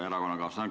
Aitäh, juhataja!